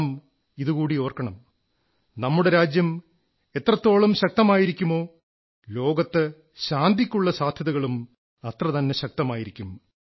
നാം ഇതുകൂടി ഓർക്കണം നമ്മുടെ രാജ്യം എത്രത്തോളം ശക്തമായിരിക്കുമോ ലോകത്ത് ശാന്തിക്കുള്ള സാധ്യതകളും അത്രതന്നെ ശക്തമായിരിക്കും